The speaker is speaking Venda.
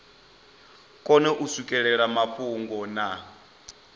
kone u swikelela mafhungo na